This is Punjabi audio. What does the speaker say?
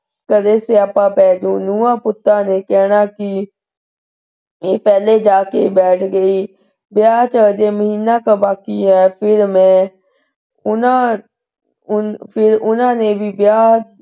ਘਰੇ ਸਿਆਪਾ ਪੈ ਜਾਊ। ਨੂੰਹਾਂ ਪੁੱਤਾਂ ਨੇ ਕਹਿਣਾ ਕੀ ਕਿ ਪਹਿਲਾਂ ਹੀ ਜਾ ਕੇ ਬੈਠ ਗਈ ਵਿਆਹ ਚ ਹਜੇ ਮਹੀਨਾ ਕਾ ਬਾਕੀ ਹੈ ਫਿਰ ਮੈਂ ਉਹਨਾਂ ਉਹਨਾਂ ਨੇ ਵੀ ਵਿਆਹ,